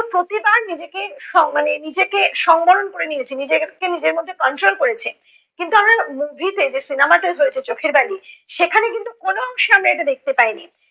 প্রতিবার নিজেকে উম মানে নিজে নিজেকে সংবরণ করে নিয়েছে, নিজেকে নিজের মধ্যে control করেছে। কিন্তু আমরা movie তে যে cinema টা হয়েছে চোখের বালি, সেখানে কিন্তু কোনো অংশে আমরা এটা দেখতে পাইনি।